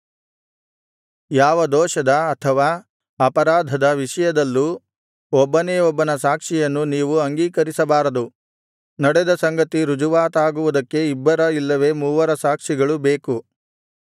ಯಾವ ದೋಷದ ಅಥವಾ ಅಪರಾಧದ ವಿಷಯದಲ್ಲೂ ಒಬ್ಬನೇ ಒಬ್ಬನ ಸಾಕ್ಷಿಯನ್ನು ನೀವು ಅಂಗೀಕರಿಸಬಾರದು ನಡೆದ ಸಂಗತಿ ರುಜುವಾತಾಗುವುದಕ್ಕೆ ಇಬ್ಬರ ಇಲ್ಲವೆ ಮೂವರ ಸಾಕ್ಷಿಗಳು ಬೇಕು